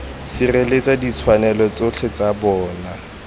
sireletsa ditshwanelo tsotlhe tsa bona